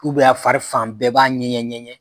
a fari fan bɛɛ b'a ŋɛɲɛ ŋɛɲɛ.